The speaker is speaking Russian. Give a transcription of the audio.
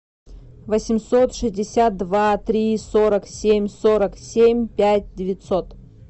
восемьсот шестьдесят два три сорок семь сорок семь пять девятьсот